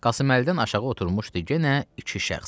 Qasım Əlidən aşağı oturmuşdu yenə iki şəxs.